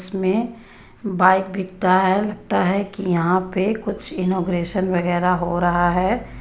इसमें बाइक बिकता है लगता हैं कि यहां पे कुछ इनॉग्रेशन वगैरा हो रहा है.